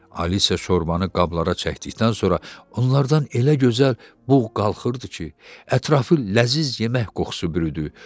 Alisa şorbanı qablara çəkdikdən sonra onlardan elə gözəl bux qalxırdı ki, ətrafı ləzzətli yemək qoxusu bürüdü.